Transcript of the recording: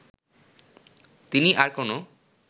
তিনি আর কোনো